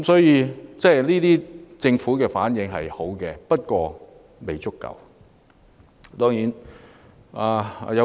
因此，政府的反應是可取的，但未足夠。